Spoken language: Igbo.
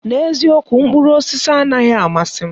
N'eziokwu, mkpụrụ osisi anaghị amasị m.